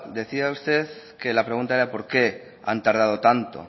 decía usted que la pregunta era por qué han tardado tanto